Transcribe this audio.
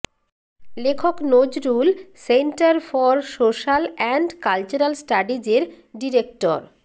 লেখক Nazrul centre for social and cultural স্টাডিজ়ের director